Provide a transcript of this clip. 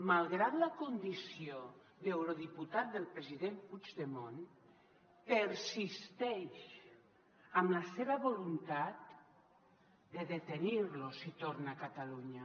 malgrat la condició d’eurodiputat del president puigdemont persisteix en la seva voluntat de detenir lo si torna a catalunya